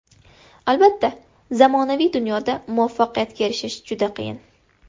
Albatta, zamonaviy dunyoda muvaffaqiyatga erishish juda qiyin.